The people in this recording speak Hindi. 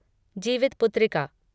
जीवितपुत्रिका